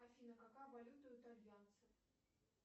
афина какая валюта у итальянцев